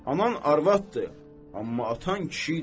Anan arvaddır, amma atan kişi idi.